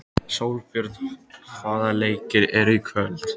Sólbjörn, hvaða leikir eru í kvöld?